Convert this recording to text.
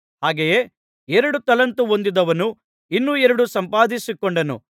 ಹಾಗೆಯೇ ಎರಡು ತಲಾಂತು ಹೊಂದಿದವನು ಇನ್ನೂ ಎರಡು ಸಂಪಾದಿಸಿಕೊಂಡನು